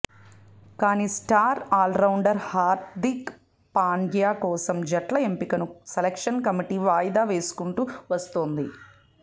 కానీ star allrounder Hardik Pandya కోసం జట్ల ఎంపికను సెలెక్షన్ కమిటీ వాయిదా వేసుకుంటూ వస్తోంది